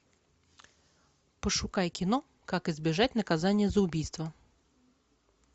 пошукай кино как избежать наказания за убийство